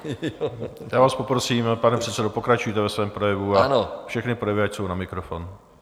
Já vás poprosím, pane předsedo, pokračujte ve svém projevu a všechny projevy ať jsou na mikrofon.